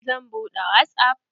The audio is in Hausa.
Zan buɗe wasap.